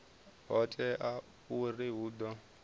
ho teaho uri hu ḓo